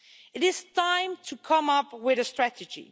It is time to come up with a strategy.